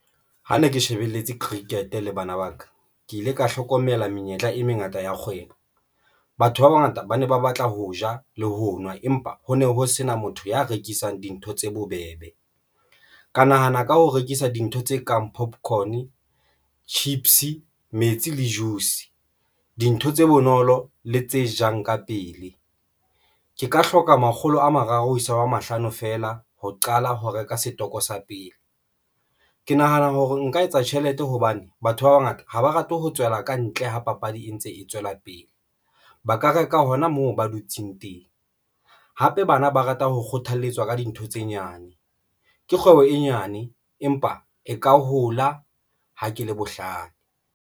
Ha ne ke shebeletse cricket le bana ba ka, ke ile ka hlokomela menyetla e mengata ya kgwebo. Batho ba bangata ba ne ba batla ho ja le ho nwa empa ho ne ho sena motho ya rekisang dintho tse bobebe. Ka nahana ka ho rekisa dintho tse kang popcorn, chips, metsi le juice dintho tse bonolo le tse jang ka pele. Ke ka hloka makgolo a mararo ho isa wa mahlano fela ho qala ho reka setoko sa pele. Ke nahana hore nka etsa tjhelete hobane batho ba bangata ha ba rate ho tswela ka ntle ho papadi e ntse e tswela pele. Ba ka reka hona moo ba dutseng teng hape bana ba rata. Ho kgothalletswa ka dintho tse nyane ke kgwebo e nyane, empa e ka hola. Ha ke le bohlale.